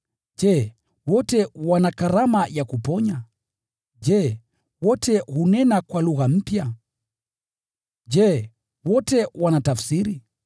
Je, wote wana karama ya kuponya? Je, wote hunena kwa lugha mpya? Je, wote wanatafsiri?